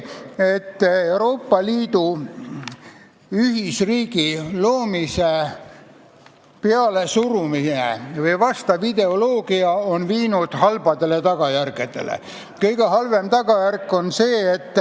... et Euroopa ühisriigi loomise pealesurumine või vastav ideoloogia on toonud kaasa halbu tagajärgi.